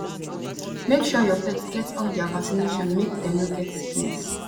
make sure your pet get all their vaccination make dem no get sickness